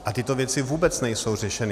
A tyto věci vůbec nejsou řešeny.